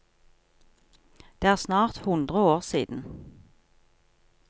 Det er snart hundre år siden.